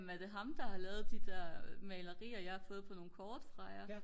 er det ham der har lavet de der malerier jeg har fået på nogle kort fra jer?